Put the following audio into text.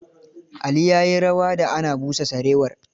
Ali ya yi rawa da ana busa sarewar.